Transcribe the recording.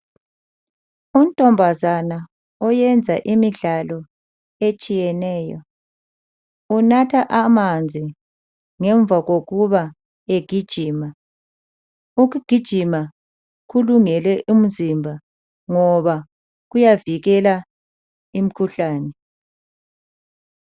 Untombazana wenza imidlalo etshiyeneyo unatha amanzi ngemva kokugijima, ukugijima kulungele umzimba ngoba kuyavikela imkhuhlane.